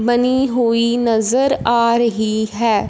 बनी हुई नज़र आ रही है।